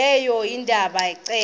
leyo ebanda ceke